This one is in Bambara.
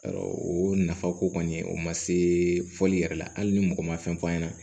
o nafa ko kɔni o ma se fɔli yɛrɛ la hali ni mɔgɔ ma fɛn f'a ɲɛna